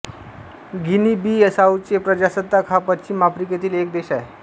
गिनीबिसाउचे प्रजासत्ताक हा पश्चिम आफ्रिकेतील एक देश आहे